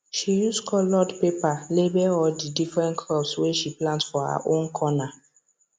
she use coloured paper label all the different crops wey she plant for her own corner